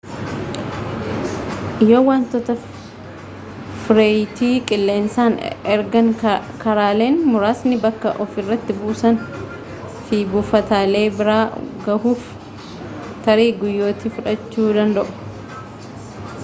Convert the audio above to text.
yoo wantoota fireeyiti qilleensaan ergan karaaleen muraasni bakka ofirritti buusan fi buufataalee bira gahuuf tarii guyyootii fudhachuu danda'a